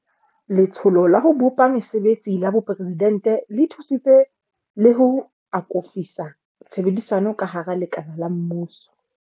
Letsholo la ho bopa Mese betsi la Boporesidente le thusitse le ho akofisa tshebedisano ka hara lekala la mmuso.